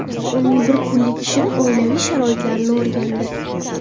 Uning bir kunlik ishini, oilaviy sharoitlarini o‘rgandi?